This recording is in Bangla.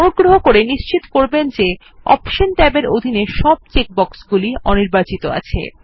অনুগ্রহ করে নিশ্চিত করবেন যে অপশন ট্যাবের অধীন সব চেক বক্সগুলি অনির্বাচিত আছে